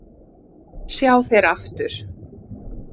sjá þeir aftur